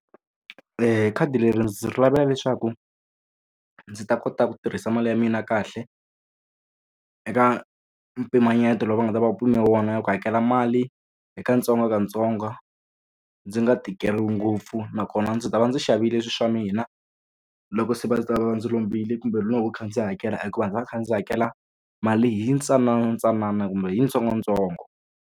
Khadi leri ndzi ri lavela leswaku ndzi ta kota ku tirhisa mali ya mina kahle, eka mpimanyeto lowu va nga ta va pime wona na ku hakela mali hi katsongokatsongo, ndzi nga tikeriwi ngopfu. Nakona ndzi ta va ndzi xavile swilo swa mina, loko se va va ta va ndzi lombile kumbe loko ndzi va kha ndzi hakela hikuva ndzi va ndzi kha ndzi hakela mali hi ntsananantsanana kumbe hi ntsongontsongo.